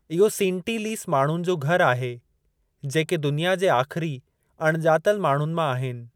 इहो सींटींलीस माण्हुनि जो घरु आहे जेके दुनिया जे आख़िरी अणॼातल माण्हुनि मां आहिनि।